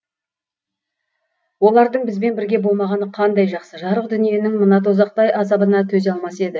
олардың бізбен бірге болмағаны қандай жақсы жарық дүниенің мына дозақтай азабына төзе алмас еді